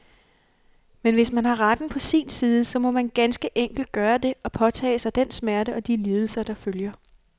Men hvis man har retten på sin side, så må man ganske enkelt gøre det, og påtage sig den smerte og de lidelser, der følger.